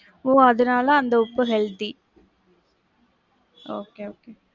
ஒ அதுனால அந்த உப்பு healthy. Okay okay.